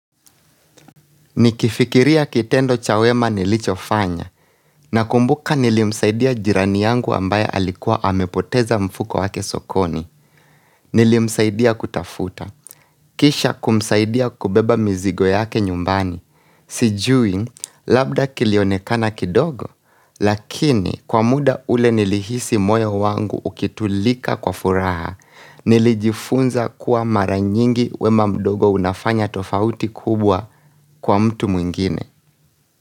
Nikifikiria kitendo chawema nilicho fanya na kumbuka nilimsaidia jirani yangu ambaye alikuwa amepoteza mfuko wake sokoni. Nilimsaidia kutafuta. Kisha kumsaidia kubeba mizigo yake nyumbani. Sijui, labda kilionekana kidogo, lakini kwa muda ule nilihisi moyo wangu ukitulika kwa furaha, nilijifunza kuwa maranyingi wema mdogo unafanya tofauti kubwa kwa mtu mwingine.